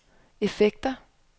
effekter